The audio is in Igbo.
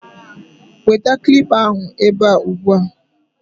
Weta kilipa ahụ ebe a ugbu a!